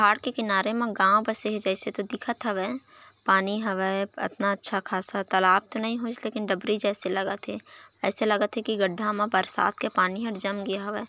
पहाड़ के किनारे मा गाँव बसे हे जइसे तो दिखत हवय पानी हवय अतना अच्छा खासा तालाब तो नई होइस लेकिन डब्रि जैसे लगत हे अइसे लगत हे कि गड्ढा मा बरसात के पानी हर जम गे हवय।